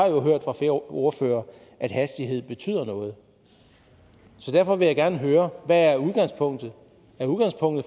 jo ordførere at hastighed betyder noget så derfor vil jeg gerne høre hvad udgangspunktet er er udgangspunktet